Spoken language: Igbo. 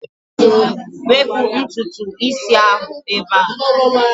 Wepụ ntutu isi a ebe a!